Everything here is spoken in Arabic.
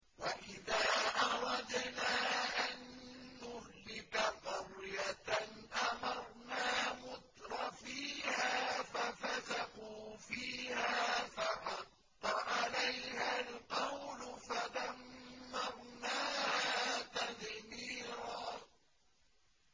وَإِذَا أَرَدْنَا أَن نُّهْلِكَ قَرْيَةً أَمَرْنَا مُتْرَفِيهَا فَفَسَقُوا فِيهَا فَحَقَّ عَلَيْهَا الْقَوْلُ فَدَمَّرْنَاهَا تَدْمِيرًا